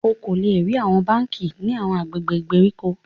O ko le rí awọn bánkì ní awọn agbègbè ìgbèríko